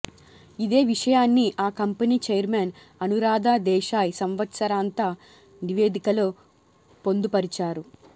ఇదే విషయాన్ని ఆ కంపెనీ ఛైర్మన్ అనురాధా దేశాయ్ సంవత్సరాంత నివేదికలో పొందుపరిచారు